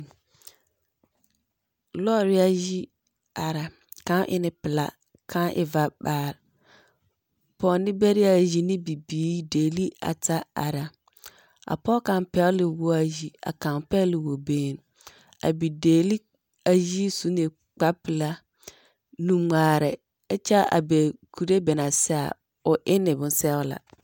Lɔɔreayi ara. Kão e ne pelaa kão e vamhaar. Pɔɔneberaayi ne bibiiri dɛli ata ara. A pɔge kaŋ pɛgele na woɔayi a kaŋ pɛgele wɔ benn. A bi dɛbli ayi su ne kpar pelaa nuŋmaarɛ ɛkyɛa bɛ kure bɛ na sɛa o enne bonsɛola.